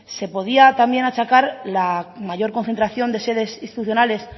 se podía también achacar la mayor concentración de sedes institucionales